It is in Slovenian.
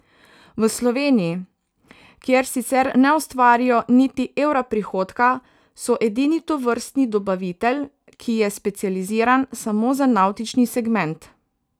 V Sloveniji, kjer sicer ne ustvarijo niti evra prihodka, so edini tovrstni dobavitelj, ki je specializiran samo za navtični segment.